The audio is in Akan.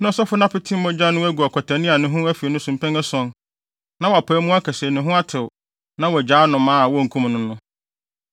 Na ɔsɔfo no apete mogya no agu ɔkwatani a ne ho afi no so mpɛn ason, na wapae mu aka se ne ho atew na wagyaa anomaa a wonkum no no.